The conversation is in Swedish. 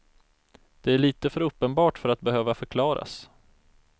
Det är lite för uppenbart för att behöva förklaras.